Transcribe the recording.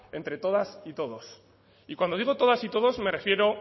entre todas y todos y cuando digo todas y todos me refiero